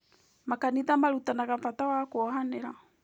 Makanitha marutanaga bata wa kuohanĩra.